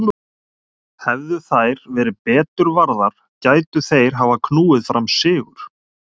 Hefðu þær verið betur varðar gætu þeir hafa knúið fram sigur.